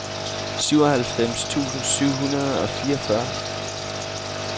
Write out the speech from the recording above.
syvoghalvfems tusind syv hundrede og fireogfyrre